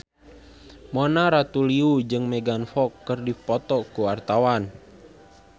Mona Ratuliu jeung Megan Fox keur dipoto ku wartawan